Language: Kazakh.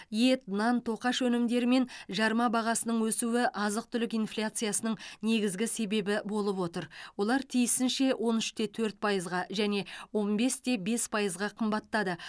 ет нан тоқаш өнімдері мен жарма бағасының өсуі азық түлік инфляциясының негізгі себебі болып отыр олар тиісінше он үште төрт пайызға және он бесте бес пайызға қымбаттады